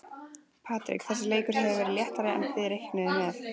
Patrik, þessi leikur hefur verið léttari en þið reiknuðuð með?